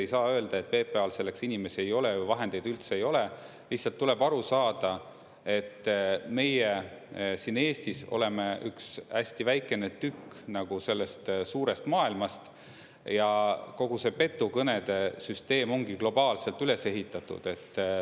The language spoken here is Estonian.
Ei saa öelda, et PPA-l selleks inimesi ei ole või vahendeid üldse ei ole – lihtsalt tuleb aru saada, et meie siin Eestis oleme üks hästi väikene tükk sellest suurest maailmast ja kogu see petukõnede süsteem ongi globaalselt üles ehitatud.